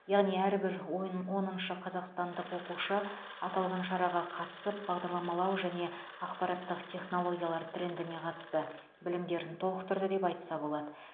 яғни әрбір ойын оныншы қазақстандық оқушы аталған шараға қатысып бағдарламалау және ақпараттық технологиялар трендіне қатысты білімдерін толықтырды деп айтса болады